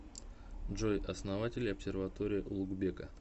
джой основатель обсерватория улугбека